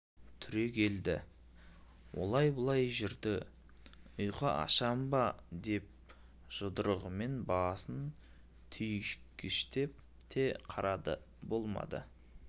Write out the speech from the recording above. түрегелді олай-бұлай жүрді ұйқы ашам ба деп жұдырығымен басын түйгіштеп те қарады болмады